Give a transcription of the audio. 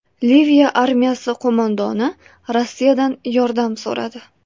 Liviya armiyasi qo‘mondoni Rossiyadan yordam so‘radi.